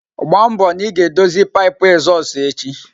Gba mbo na ị ga-edozi pipu ezozu echi!